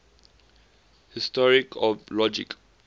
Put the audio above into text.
history of logic